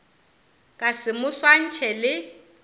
ka se mo swantšhe le